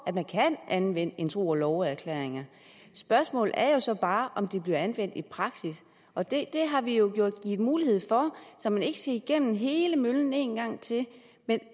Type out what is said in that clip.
at man kan anvende en tro og love erklæring spørgsmålet er så bare om den bliver anvendt i praksis og det har vi jo givet mulighed for så man ikke skal igennem hele møllen en gang til men